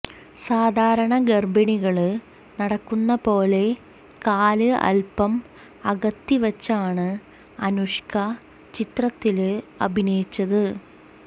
സാധാരണ ഗര്ഭിണികള് നടക്കുന്ന പോലെ കാല് അല്പ്പം അകത്തി വച്ചാണ് അനുഷ്ക ചിത്രത്തില് അഭിനയിച്ചത്